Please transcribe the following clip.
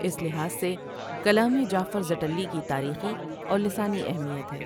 اس لحاظ سے کلامِ جعفر زٹلی کی تاریخی اور لسانی اہمیت ہے ۔